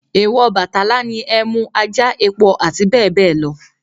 Èwọ̀ Ọbàtálá ni ẹmú, ajá, epo àti bẹ́ẹ̀ bẹ́ẹ̀ lọ